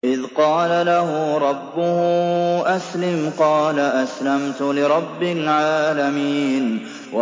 إِذْ قَالَ لَهُ رَبُّهُ أَسْلِمْ ۖ قَالَ أَسْلَمْتُ لِرَبِّ الْعَالَمِينَ